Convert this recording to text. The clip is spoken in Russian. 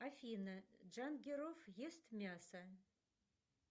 афина джангиров ест мясо